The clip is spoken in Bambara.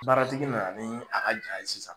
Baaratigi nana ni a ka jaa ye sisan.